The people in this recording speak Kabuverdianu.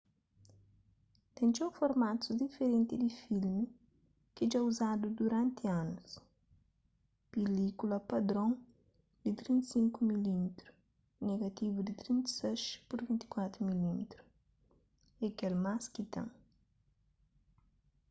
ten txeu formatus diferenti di filmi ki dja uzadu duranti anus. pilílkula padron di 35 mm negativu di 36 pur 24 mm é kel más ki ten